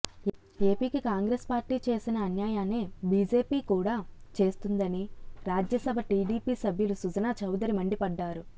ఏపీకి కాంగ్రెస్ పార్టీ చేసిన అన్యాయానే బీజేపీ కూడా చేస్తోందని రాజ్యసభ టీడీపీ సభ్యులు సుజనా చౌదరి మండిపడ్డారు